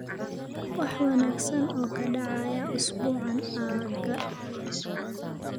wax wanaagsan oo ka dhacaya isbuucaan aagga